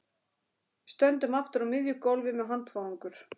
Við stöndum aftur á miðju gólfi með handfarangur.